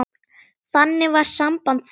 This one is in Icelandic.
Þannig var samband þeirra.